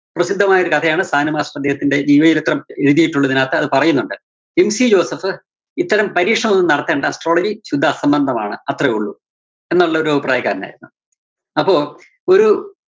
പ്രസിദ്ധമായൊരു കഥയാണ്‌ സാനു മാഷ് അദ്ദേഹത്തിന്റെ ജീവചരിത്രം എഴുതിയിട്ടുള്ളതിനകത്ത് അത് പറയുന്നുണ്ട്‌. MC ജോസഫ് ഇത്തരം പരീക്ഷണം ഒന്നും നടത്തണ്ട astrology ശുദ്ധ അസംബന്ധമാണ് അത്രേ ഒള്ളൂ. എന്നുള്ളൊരു അഭിപ്രായക്കാരനായിരുന്നു. അപ്പോ ഒരു